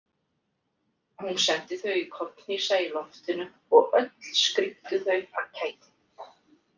Hún sendi þau í kollhnísa í loftinu og öll skríktu þau af kæti.